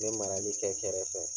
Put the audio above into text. N me marali kɛ kɛrɛfɛ